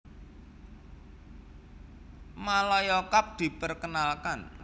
Malaya Cup diperkenalkan